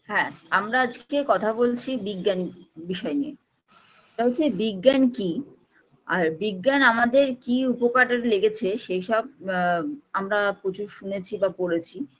হ্যাঁ আমরা আজকে কথা বলছি বিজ্ঞান বিষয় নিয়ে সেটা হচ্ছে বিজ্ঞান কী আর বিজ্ঞান আমাদের কী উপকারে লেগেছে সেইসব আ আমরা প্রচুর শুনেছি বা পড়েছি